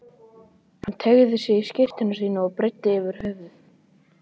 Hann teygði sig í skyrtuna sína og breiddi yfir höfuð.